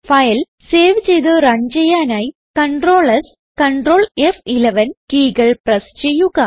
file save ചെയ്ത് run ചെയ്യാനായി Ctrl Ctrl കീകൾ പ്രസ് ചെയ്യുക